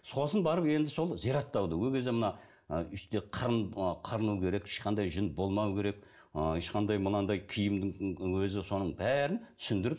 сосын барып енді сол зияраттауды ол кезде мына ы мына қырыну керек ешқандай жүн болмауы керек ы ешқандай мынадай киімнің өзі соның бәрін түсіндіріп